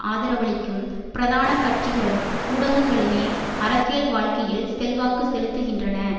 ஆதரவளிக்கும் பிரதான கட்சிகளும் ஊடகங்களுமே அரசியல் வாழ்க்கையில் செல்வாக்கு செலுத்துகின்றன